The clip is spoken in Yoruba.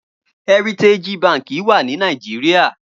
Hèritéji bànkí wà ni Nigeria